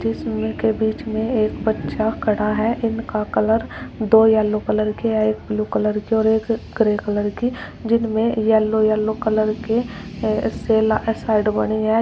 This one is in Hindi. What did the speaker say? जिसमे के बीच में एक बच्चा खड़ा है। इनका कलर दो येलो कलर के एक ब्लू कलर के और एक ग्रे कलर के जिनमे येलो येलो कलर के साइड बनी है।